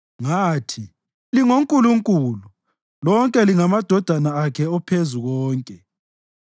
Ngathi, ‘Lingo “nkulunkulu”; lonke lingamadodana akhe oPhezukonke.’